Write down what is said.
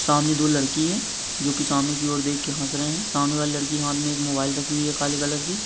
सामने दो लड़की है जो की सामने की और देख के हास रहे है सामने वाले लड़की के हात मे मोबाईल राखी हुई है काले कलर की।